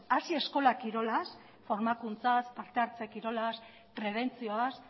hasi eskola kirolaz formakuntzaz partehartze kirolaz prebentzioaz